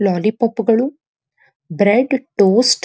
ಲಾಲಿ ಪಾಪುಗಳು bread toast --